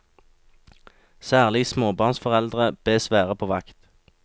Særlig småbarnsforeldre bes være på vakt.